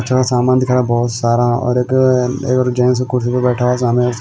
सामान दिखा बहुत सारा और एक जेंट्स कुर्सी पे बैठा हुआ सामने।